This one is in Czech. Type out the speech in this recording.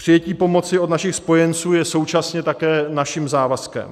Přijetí pomoci od našich spojenců je současně také naším závazkem.